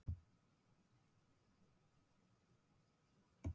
Finnst þér tímabilið hér ekki vera of stutt?